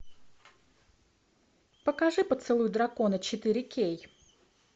покажи поцелуй дракона четыре кей